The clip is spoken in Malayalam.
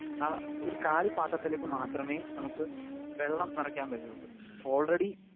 സ്പീക്കർ 2 ആ ഒരു കാലി പാത്രത്തിലേക്ക് മാത്രമേ നമുക്ക് വെള്ളം നിറയ്ക്കാൻ പറ്റുവൊള്ളൂ. ഓൾറെഡി